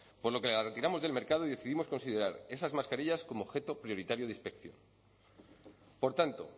por lo que las retiramos del mercado y decidimos considerar esas mascarillas como objeto prioritario de inspección por tanto